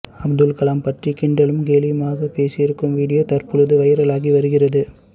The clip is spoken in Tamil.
அப்துல்கலாம் பற்றி கிண்டலும் கேலியுமாக பேசியிருக்கும் வீடியோ தற்போது வைரலாகி வருகிறது